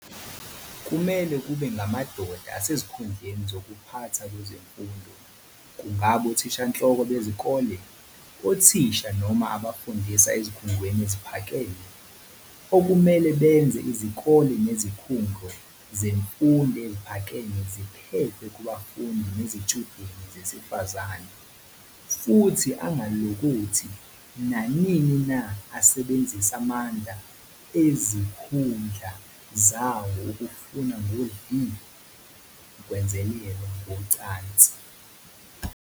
Kumele kube ngamadoda asezikhundleni zokuphatha kwezemfundo, kungaba othishanhloko bezikole, othisha noma abafundisa ezikhungweni eziphakeme, okumele benze izikole nezikhungo zemfundo ephakeme ziphephe kubafundi nezitshudeni zesifazane, futhi angalokothi, nanini na asebenzise amandla ezikhundla zawo ukufuna ngodli ukwenzelelwa ngocansi.